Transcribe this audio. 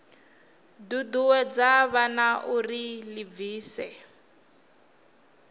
ṱuṱuwedza vhana uri vha ḓibvise